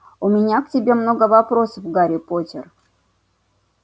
у меня к тебе много вопросов гарри поттер